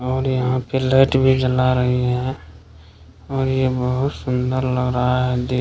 और यहाँ पे लैट भी जला रही हैं और ये बहुत सुंदर लग रहा है देख --